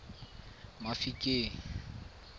mafikeng